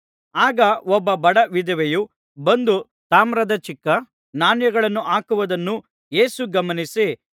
ಆಗ ಒಬ್ಬ ಬಡ ವಿಧವೆಯು ಬಂದು ತಾಮ್ರದ ಚಿಕ್ಕ ನಾಣ್ಯಗಳನ್ನು ಹಾಕುವುದನ್ನು ಯೇಸು ಗಮನಿಸಿ